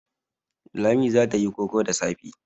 Lami za ta yi koko da safe.